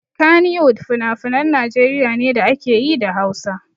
Kannywood finafinan Najeriya ne da ake yi da Hausa.